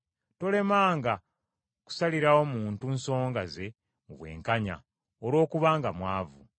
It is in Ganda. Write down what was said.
“Tolemanga kusalirawo muntu nsonga ze mu bwenkanya, olwokubanga mwavu.